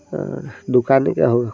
अ दुकाने का हौ --